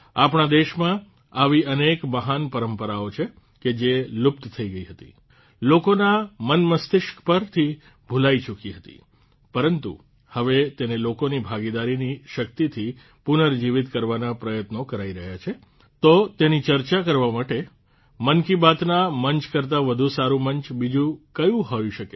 આપણાં દેશમાં આવી અનેક મહાન પરંપરાઓ છે કે જે લુપ્ત થઇ ગઇ હતી લોકોનાં મનમસ્તિષ્ક પરથી ભૂલાઇ ચુકી હતી પરન્તુ હવે તેને લોકોની ભાગીદારીની શક્તિથી પુર્નજીવિત કરવાનાં પ્રયત્નો કરાઇ રહ્યાં છે તો તેની ચર્ચા માટે મન કી બાતનાં મંચ કરતાં વધુ સારું મંચ બીજું કયું હોઇ શકે